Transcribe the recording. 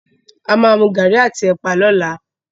A máa mú garri àti ẹ̀pà ni ọ̀la.